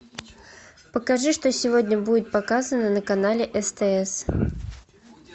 покажи что сегодня будет показано на канале стс